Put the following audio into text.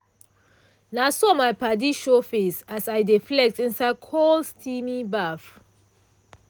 na so my padi show face as i dey flex inside cool steamy baff.